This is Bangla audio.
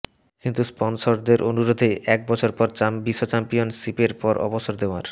কিন্তু স্পনসরদের অনুরোধে একবছর পর বিশ্বচ্যাম্পিয়নশিপের পর অবসর নেওয়ার